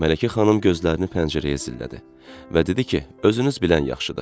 Mələkə xanım gözlərini pəncərəyə zillədi və dedi ki, özünüz bilən yaxşıdır.